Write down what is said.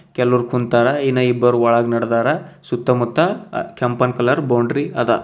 ಕೆಲವರು ಕುಂತರ ಇನ್ನಿಬ್ಬರ ಒಳಗ ನಡ್ದಾರ ಸುತ್ತಮುತ್ತ ಅ ಕೆಂಪನ್ ಕಲರ್ ಬೌಂಡ್ರಿ ಅದ.